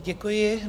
Děkuji.